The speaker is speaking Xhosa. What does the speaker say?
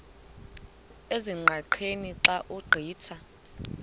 ezingqaqeni xa ugqitha